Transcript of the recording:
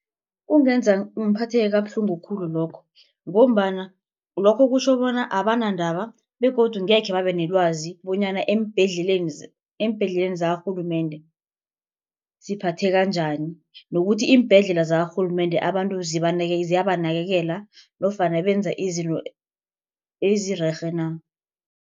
Kungenza ngiphatheke kabuhlungu khulu lokhu. Ngombana lokho kutjho bona abanandaba begodu ngekhe babe nelwazi bonyana eembhedleleni eembhedleleni zakarhulumende siphatheka njani nokuthi iimbhedlela zakarhulumende abantu ziyabanakekela nofana benza izinto ezirerhe na.